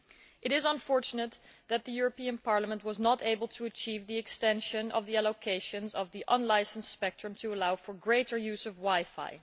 It is unfortunate that the European Parliament was not able to achieve the extension of the allocations of unlicensed spectrum to allow for greater use of wi fi.